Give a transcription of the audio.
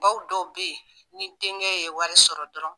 Baw dɔw bɛ yen ni denkɛ ye wari sɔrɔ dɔrɔn